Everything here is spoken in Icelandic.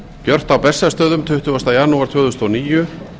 gert á bessastöðum tuttugasta janúar tvö þúsund og níu